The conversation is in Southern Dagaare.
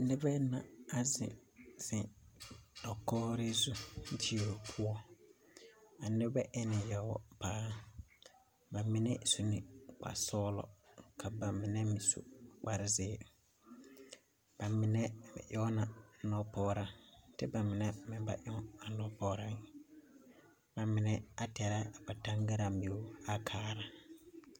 Nebɛ na a zeŋ zeŋ dakɔɔre zu dio poɔ. A nebɛ enne yɔɔ paa. Ba mine su ne kpar sɔɔlɔ. Ka ba mine meŋ su kpar zeere. Ba mine ba eona a nɔpɔɔra te ba mine meŋ ba eoe. Ba mine a tɛra ba taŋgaraa meor a kaara.